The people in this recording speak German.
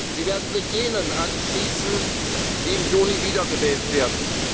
beleben. Sie werden sich jenen anschließen, die im Juni wiedergewählt